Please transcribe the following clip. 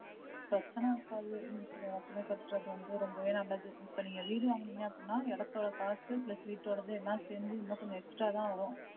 பிரசன்ன இருக்காது, இருக்குற இடத்துலையே கற்றது வந்து ரொம்பவே நல்லது இப்போ நீங்க வீடு வாங்குனீங்க அப்டினா இடத்தோட costplus வீடோடது எல்லாம் சேர்ந்து இன்னும் கொஞ்சம் extra தான் வரும்.